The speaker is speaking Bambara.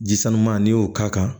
Ji suman n'i y'o k'a kan